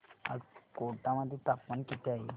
आज कोटा मध्ये तापमान किती आहे